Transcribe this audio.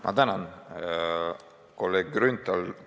Ma tänan, kolleeg Grünthal!